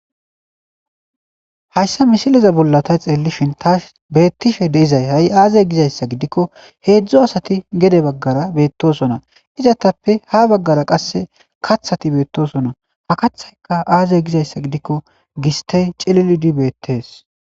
Haysa misileza bolla ta tsellishin tasi be'ettishe dizay ha aze giza issa g.idikko hezzu asati gede baggara be'etosona. Izatappe ha baggara qassi katsati be'etosona. Ha katsaykka aze giza issa gidikko gistay cillilidi be'ettes.